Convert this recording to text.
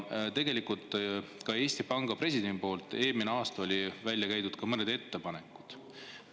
Ka Eesti Panga president käis eelmine aasta välja mõned ettepanekud.